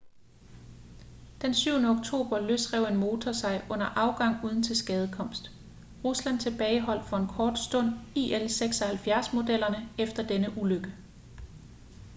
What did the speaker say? den 7. oktober løsrev en motor sig under afgang uden tilskadekomst. rusland tilbageholdt for en kort stund il-76-modeller efter denne ulykke